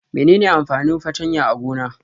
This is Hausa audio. Mene ne amfanin fartanya a gona?